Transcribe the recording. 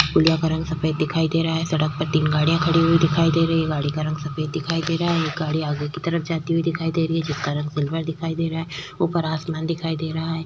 पुलिया का रंग सफेद दिखाई दे रहा है। सड़क पर तीन गाड़ियां खड़ी हुई दिखाई दे रहीं हैं। गाड़ी का रंग सफेद दिखाई दे रहा है। एक गाड़ी आगे की तरफ जाती हुई दिखाई दे रही है जिसका रंग सिल्वर दिखाई दे रहा है। ऊपर आसमान दिखाई दे रहा है।